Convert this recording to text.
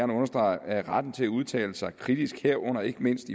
understrege at retten til at udtale sig kritisk herunder ikke mindst